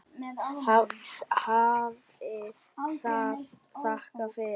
Hafi það þakkir fyrir.